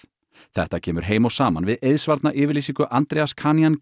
þetta kemur heim og saman við eiðsvarna yfirlýsingu Andreas